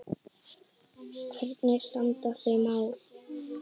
Hvernig standa þau mál?